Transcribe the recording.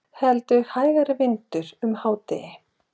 Heldur hægari vindur um hádegi